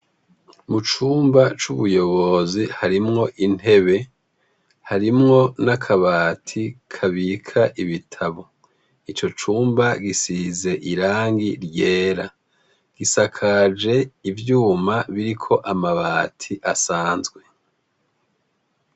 Mucumba c’ubuyobozi harimwo intebe , harimwo n’akabati kabika ibitabo. Ico cumba gisize irangi ryera. Gisakajwe ivyuma biriko amabati asanzwe.